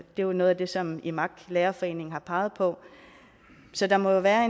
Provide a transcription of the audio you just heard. jo noget af det som imak lærerforeningen har peget på så der må jo være